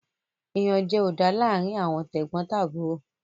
Iyanjẹ o dá láarin Àwọn tegbotaburo